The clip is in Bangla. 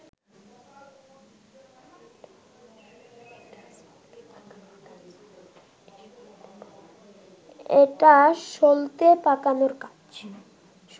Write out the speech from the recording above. এটা সলতে পাকানোর কাজ